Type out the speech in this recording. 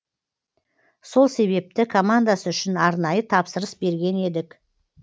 сол себепті командасы үшін арнайы тапсырыс берген едік